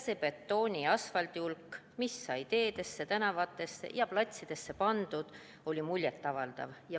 See betooni ja asfaldi hulk, mis sai teedesse, tänavatesse ja platsidesse pandud, oli muljet avaldav.